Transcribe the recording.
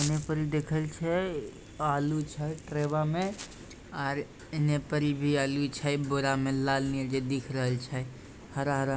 यहाँ पर देखे छै आलू छै ट्रेवा में और इने पर भी आलू छै बोरा में लाल नियर के दिख रहल छै हरा-हरा---